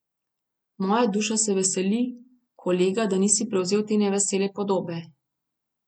Moja duša se veseli, kolega, da nisi prevzel te nevesele podobe.